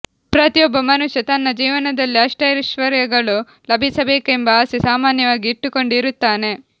ಪ್ರತಿಯೊಬ್ಬ ಮನುಷ್ಯ ತನ್ನ ಜೀವನದಲ್ಲಿ ಅಷ್ಟೈಶ್ವರ್ಯಗಳು ಲಭಿಸಬೇಕೆಂಬ ಆಸೆ ಸಾಮಾನ್ಯವಾಗಿ ಇಟ್ಟುಕೊಂಡೆ ಇರುತ್ತಾನೆ